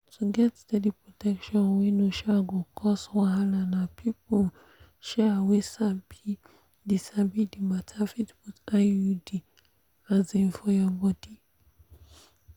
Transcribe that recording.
to get steady protection wey no um go cause wahala na people um wey sabi the sabi the matter fit put iud um for your body.